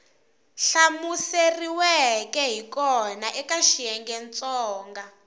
hlamuseriweke hi kona eka xiyengentsongo